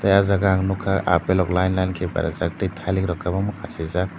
tei o jaga ang nukha apple rok line line khe berajak tei tjailik rok khasijak.